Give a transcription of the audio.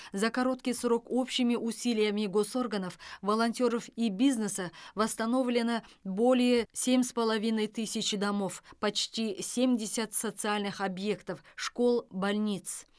за короткий срок общими усилиями госорганов волонтеров и бизнеса восстановлено более семь с половиной тысяч домов почти семьдесять социальных объектов школ больниц